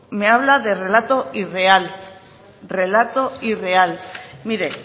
me habla de relato irreal relato irreal mire